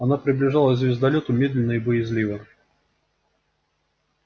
она приближалась к звездолёту медленно и боязливо